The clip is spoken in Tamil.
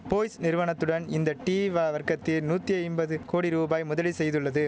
போய்ஸ் நிறுவனத்துடன் இந்த டீ வா வர்க்கத்தில் நூத்தி ஐம்பது கோடி ரூபாய் முதலீ செய்துள்ளது